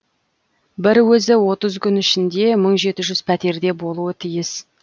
бір өзі отыз күн ішінде мың жеті жүз пәтерде болуы тиіс